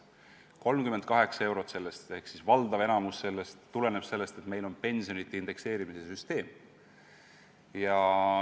38 eurot ehk valdav osa sellest tõusust tuleneb sellest, et meil on pensionide indekseerimise süsteem.